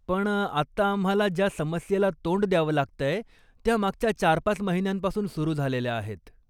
पण आत्ता आम्हाला ज्या समस्येला तोंड द्यावं लागतंय, त्या मागच्या चार पाच महिन्यांपासून सुरु झालेल्या आहेत.